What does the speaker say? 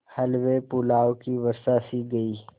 हलवेपुलाव की वर्षासी की गयी